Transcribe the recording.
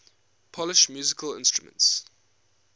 polish musical instruments